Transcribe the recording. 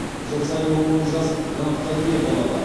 жыл сайын он мың жас грантқа ие болады